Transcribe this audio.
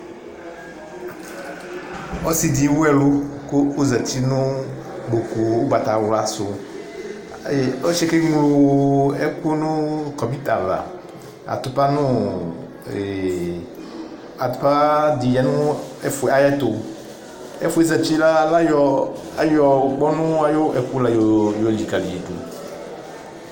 Ɔsɩ ɖɩ ewu ɛlʋ ƙʋ ozati nʋ ƙpoƙu ʋgbatawla sʋƆsɩ ƴɛ ƙe ŋlo ɛƙʋ nʋ ƙɔbʋɩt avaAtʋpa ɖɩ lɛ nʋ aƴʋ ɛtʋƐfʋ ƴɛ ozati ƴɛ la, aƴɔ ŋʋƙpɔnʋ la ƴɔ liƙali ƴɩ ɖʋ